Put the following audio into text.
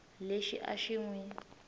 lexi a xi n wi